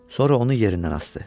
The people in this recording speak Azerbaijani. Sonra onu yerindən asdı.